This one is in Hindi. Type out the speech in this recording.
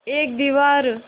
एक दीवार